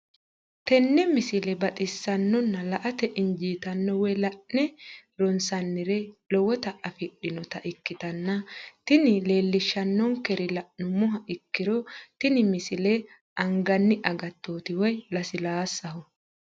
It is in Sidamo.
tenne misile baxisannonna la"ate injiitanno woy la'ne ronsannire lowote afidhinota ikkitanna tini leellishshannonkeri la'nummoha ikkiro tini misile anganni agattooti woy lasilaassaho.